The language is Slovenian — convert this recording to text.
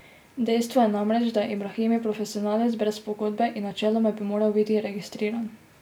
Dejstvo je namreč, da je Ibraimi profesionalec brez pogodbe, in načeloma bi moral biti registriran.